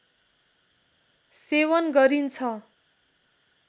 सेवन गरिन्छ